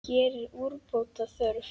Hér er úrbóta þörf.